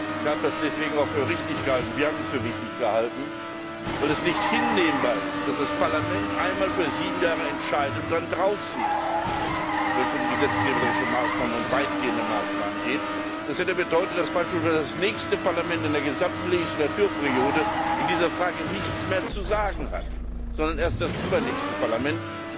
Ich habe das deswegen für richtig gehalten, wir haben das für wichtig gehalten, weil es nicht hinnehmbar ist, dass das Parlament einmal für sieben Jahre entscheidet und dann draußen ist, wenn es um gesetzgeberische Maßnahmen und weitgehende Maßnahmen geht. Das hätte bedeutet, dass beispielsweise das nächste Parlament in der gesamten Wahlperiode in dieser Frage nichts mehr zu sagen hat, sondern erst das übernächste Parlament.